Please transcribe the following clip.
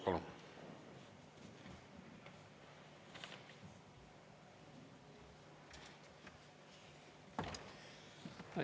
Palun!